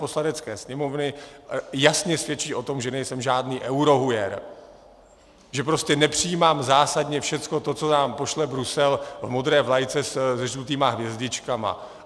Poslanecké sněmovny jasně svědčí o tom, že nejsem žádný eurohujer, že prostě nepřijímám zásadně všechno to, co nám pošle Brusel v modré vlajce se žlutými hvězdičkami.